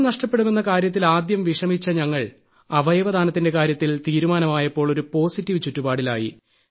അമ്മ നഷ്ടപ്പെടുമെന്ന കാര്യത്തിൽ ആദ്യം വിഷമിച്ച ഞങ്ങൾ അവയവദാനത്തിന്റെ കാര്യത്തിൽ തീരുമാനമായപ്പോൾ ഒരു പോസിറ്റീവ് ചുറ്റുപാടിലായി